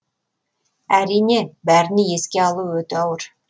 әрине бәріне еске алу өте ауыр